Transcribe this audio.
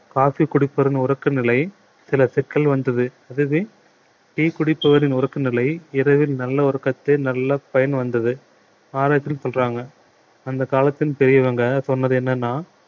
coffee குடிப்பதன் உறக்க நிலை சில சிக்கல் வந்தது அதுவே tea குடித்துவரின் உறக்க நிலையை இரவில் நல்ல உறக்கத்தை நல்ல பயன் வந்தது ஆராய்ச்சியில் சொல்றாங்க அந்த காலத்தில் பெரியவங்க சொன்னது என்னன்னா